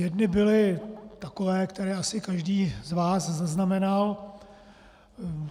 Jedny byly takové, které asi každý z vás zaznamenal.